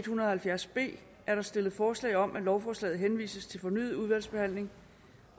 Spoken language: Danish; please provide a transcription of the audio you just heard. hundrede og halvfjerds b er der stillet forslag om at lovforslaget henvises til fornyet udvalgsbehandling